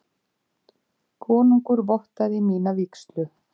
Konungur vottaði mína vígslu.